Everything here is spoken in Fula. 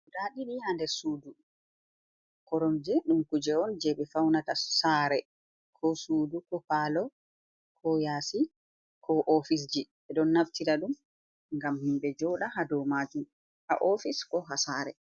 Guda ɗiɗi ha nder suudu, koromje ɗum kuje on je ɓe faunata saare ko suudu ko palo ko yasi ko ofisji, ɓe ɗo naftira ɗum ngam himɓe joɗa ha do majum a ofis ko ha saare